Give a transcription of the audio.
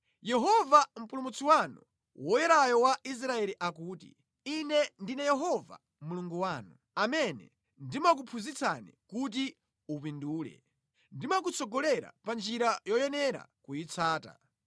Yehova, Mpulumutsi wanu, Woyerayo wa Israeli akuti, “Ine ndine Yehova Mulungu wanu, amene ndimakuphunzitsa kuti upindule, ndimakutsogolera pa njira yoyenera kuyitsata.